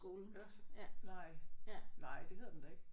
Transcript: Ørsted nej nej det hedder den da ikke